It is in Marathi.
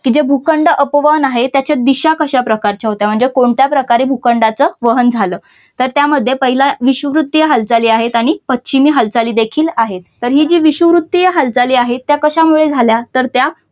कि जे भूखंड अपवन आहे तिच्या दिशा कशा प्रकारच्या होत्या म्हणजे कोणत्या प्रकारे भूखंडांचे वहन झालं तर त्यामध्ये पहिलं विषुववृत्तीय हालचाली आहेत आणि पश्चिमी हालचाली देखील आहेत तर हि जे विषुववृत्तीय हालचाली जे आहेत त्या कशामुळे झाल्या तर त्या